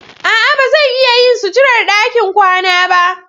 A'a, ba zan iya yin suturar ɗakin kwana ba.